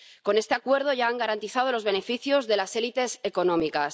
Con este acuerdo ya han garantizado los beneficios de las élites económicas.